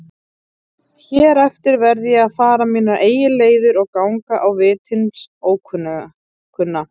Hér eftir verð ég að fara mínar eigin leiðir og ganga á vit hins ókunna.